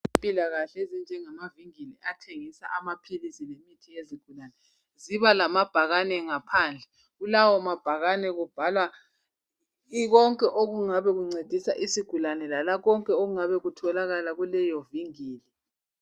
Ezempilakahle ezinjengamavingili athengisa amaphilisi lemithi yezigulane ziba lamabhakane ngaphandle. Kulawo mabhakane kubhalwa konke okungabe kuncedisa isigulane lala konke okungabe kutholakala kuleyo vingili.